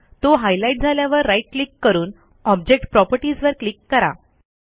तो हायलाईट झाल्यावर right click करून ऑब्जेक्ट प्रॉपर्टीजवर क्लिक करा